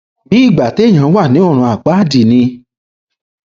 bíi ìgbà téèyàn wà ní ọrun àpáàdì ni